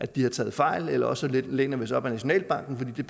de har taget fejl eller også læner vi os op ad nationalbanken fordi